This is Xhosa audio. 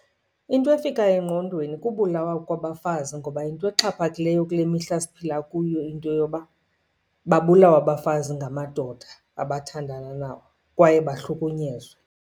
Into efikayo engqondweni kubulawa kwabafazi. Ngoba yinto exhaphakileyo kule mihla siphila kuyo into yoba babulawe abafazi ngamadoda abathandana nabo kwaye bahlukunyezwe.